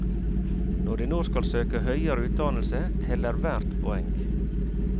Når de nå skal søke høyere utdannelse, teller hvert poeng.